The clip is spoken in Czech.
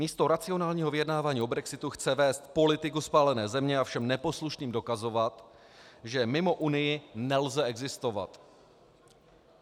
Místo racionálního vyjednávání o brexitu chce vést politiku spálené země a všem neposlušným dokazovat, že mimo Unii nelze existovat.